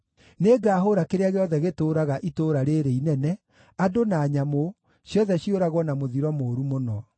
Nĩngahũũra kĩrĩa gĩothe gĩtũũraga itũũra rĩĩrĩ inene, andũ na nyamũ, ciothe ciũragwo na mũthiro mũũru mũno.